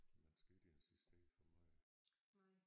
Man skal ikke insistere for meget